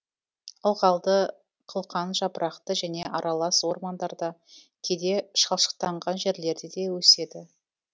ылғалды қылқан жапырақты және аралас ормандарда кейде шалшықтанған жерлерде де өседі